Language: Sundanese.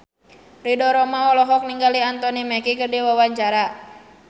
Ridho Roma olohok ningali Anthony Mackie keur diwawancara